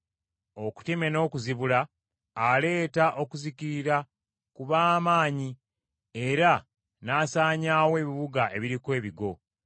Okutemya n’okuzibula aleeta okuzikirira ku b’amaanyi era n’asaanyaawo ebibuga ebiriko ebigo.